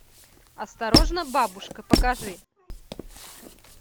осторожно бабушка покажи